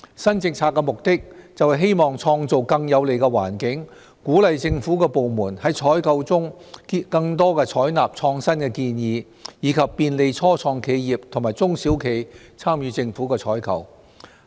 新政策的目的，是希望創造更有利的環境，鼓勵政府部門在採購中更多採納創新建議，以及便利初創企業和中小企參與政府採購。